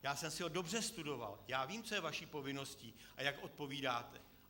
Já jsem si ho dobře prostudoval, já vím, co je vaší povinností a jak odpovídáte.